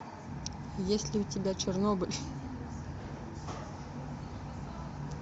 есть ли у тебя чернобыль